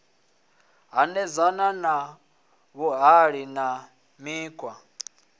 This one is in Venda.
hanedzana na vhuhali na mikhwa